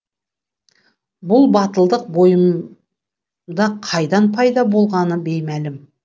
бұл батылдық бойымда қайдан пайда болғаны беймәлім